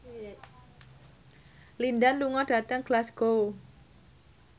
Lin Dan lunga dhateng Glasgow